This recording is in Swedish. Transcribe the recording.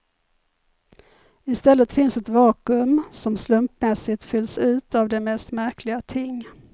I stället finns ett vakuum som slumpmässigt fylls ut av de mest märkliga ting.